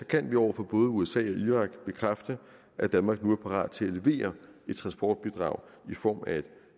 kan vi over for både usa og irak bekræfte at danmark nu er parat til at levere et transportbidrag i form af et